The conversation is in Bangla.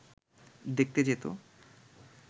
দেখতে যেত